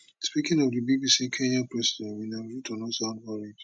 speaking to di bbc kenyan president william ruto no sound worried